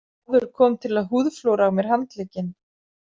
Maður kom til að húðflúra á mér handlegginn.